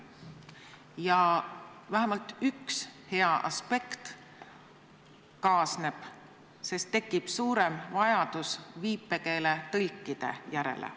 Ja kaasneb vähemalt üks hea aspekt: tekib suurem vajadus viipekeeletõlkide järele.